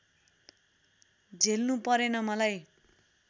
झेल्नु परेन मलाई